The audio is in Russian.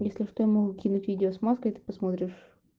если что я могу кинуть видео с маской ты посмотришь